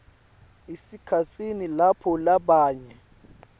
esikhatsini lapho labanye